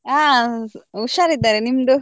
ಹ ಹುಷಾರಿದ್ದಾರೆ ನಿಮ್ದು?